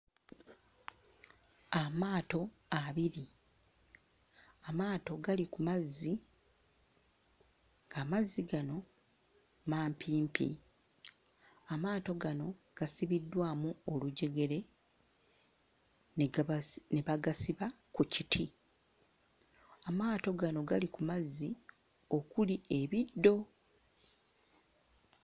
Amaato abiri. Amaato gali ku mazzi, ng'amazzi gano mampimpi. Amaato gano gasibiddwamu olujegere ne gabasi... ne bagasiba ku kiti. Amaato gano gali ku mazzi okuli ebiddo.